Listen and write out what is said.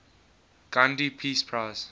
gandhi peace prize